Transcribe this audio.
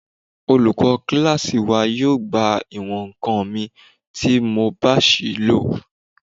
Olùkọ́ kílásì wa yóò gba ìwọ̀n-ǹkan mi tí mo bá ṣìí lò